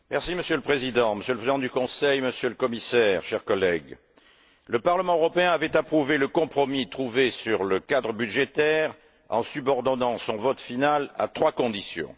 Monsieur le Président, Monsieur le Président du Conseil, Monsieur le Commissaire, chers collègues, le Parlement européen avait approuvé le compromis trouvé sur le cadre budgétaire en subordonnant son vote final à trois conditions.